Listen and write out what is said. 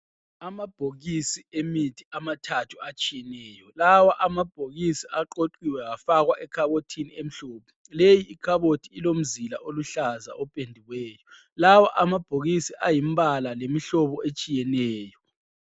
Amabhokisi emithi amathathu atshiyeneyo. Lawa amabhokisi aqoqiwe afakwa ekhabothini emhlophe. Leyi ikhabothi ilomzila oluhlaza opendiweyo. Lawa amabhokisi angumbala, lemihlobo etshiyeneyo.